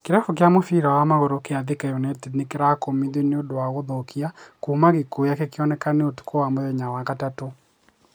kĩrabu kia mũbira wa magũrũ kia Thika united nĩkĩrakũmithio nĩũndũ wa gũthũkia kuma gĩkuũ gĩake kĩoneke ũtukũ wa mũthenya wa gatatũ,